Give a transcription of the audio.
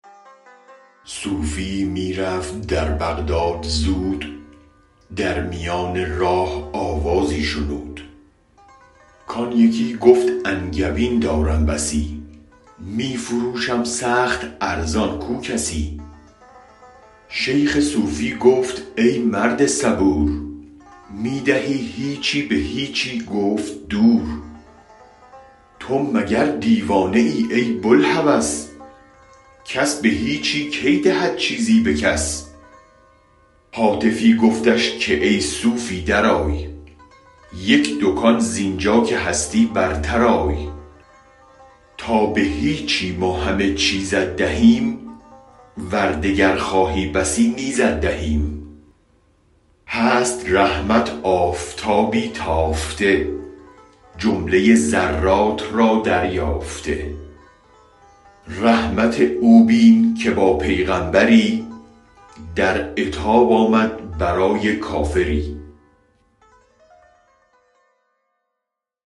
صوفیی می رفت در بغداد زود در میان راه آوازی شنود کان یکی گفت انگبین دارم بسی می فروشم سخت ارزان کو کسی شیخ صوفی گفت ای مرد صبور می دهی هیچی به هیچی گفت دور تو مگر دیوانه ای ای بوالهوس کس به هیچی کی دهد چیزی به کس هاتفی گفتش که ای صوفی درآی یک دکان زینجا که هستی برترآی تا به هیچی ما همه چیزت دهیم ور دگر خواهی بسی نیزت دهیم هست رحمت آفتابی تافته جمله ذرات را دریافته رحمت او بین که با پیغمبری در عتاب آمد برای کافری